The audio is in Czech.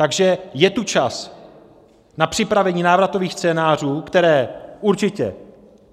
Takže je tu čas na připravení návratových scénářů, které určitě